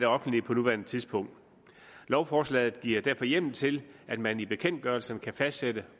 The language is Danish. offentlige på nuværende tidspunkt lovforslaget giver derfor hjemmel til at man i bekendtgørelsen kan fastsætte